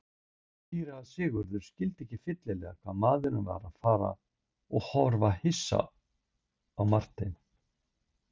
Síra Sigurður skildi ekki fyllilega hvað maðurinn var að fara og horfði hissa á Martein.